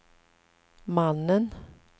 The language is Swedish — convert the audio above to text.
mannen